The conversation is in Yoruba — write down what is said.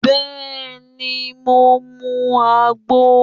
Bẹẹni, mo mu agbo